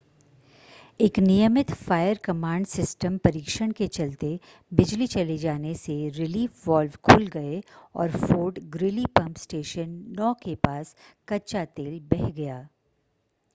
एक नियमित fire command system परीक्षण के चलते बिजली चले जाने से रिलीफ वाल्व खुल गए और फोर्ट ग्रीली पंप स्टेशन 9 के पास कच्चा तेल बह गया